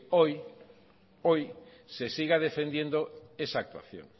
hoy se siga defendiendo esa actuación